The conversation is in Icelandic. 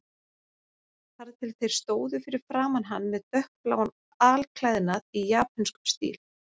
Þar til þeir stóðu fyrir framan hann með dökkbláan alklæðnað í japönskum stíl.